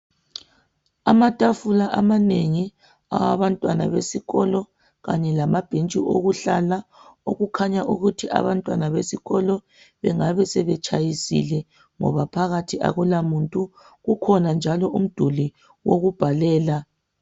Amatafula amanengi awabantwana besikolo kanye lamabhentshi okuhlalela okukhanya ukuthi abantwana besikolo bengabe sebetshayisile ngoba phakathi akulamuntu kukhona njalo umduli wokubhalela.